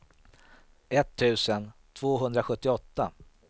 etttusen tvåhundrasjuttioåtta